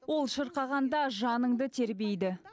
ол шырқағанда жаныңды тербейді